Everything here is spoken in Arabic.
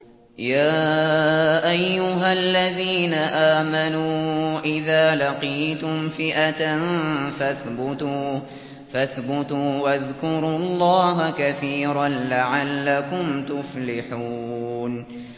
يَا أَيُّهَا الَّذِينَ آمَنُوا إِذَا لَقِيتُمْ فِئَةً فَاثْبُتُوا وَاذْكُرُوا اللَّهَ كَثِيرًا لَّعَلَّكُمْ تُفْلِحُونَ